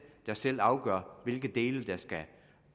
der selv afgør hvilke dele der skal